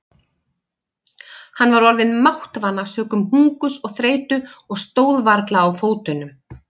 Hann var orðinn máttvana sökum hungurs og þreytu og stóð varla á fótunum.